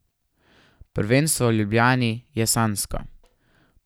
Prvenstvo v Ljubljani je sanjsko.